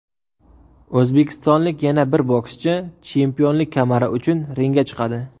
O‘zbekistonlik yana bir bokschi chempionlik kamari uchun ringga chiqadi.